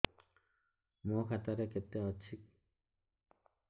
ମୋ ଖାତା ରେ କେତେ ଅଛି